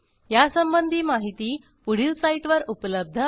यासंबंधी माहिती पुढील साईटवर उपलब्ध आहे